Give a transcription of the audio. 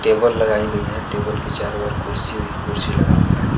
Table लगाई गई है टेबल के चारों ओर कुर्सी ही कुर्सी लगा हुआ है।